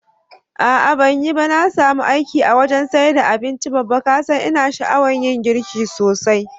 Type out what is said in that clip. A'a banyiba, na samu aiki a wajan saida abinci Babba, kasan ina sha'awan yin girki sosai.